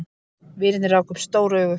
Vinirnir ráku upp stór augu.